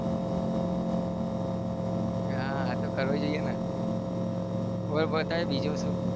હા તો કરવું જોઈએ ને બોલ બોલ અત્યારે બીજું શું?